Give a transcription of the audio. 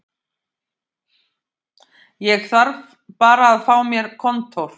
Ég þarf bara að fá mér kontór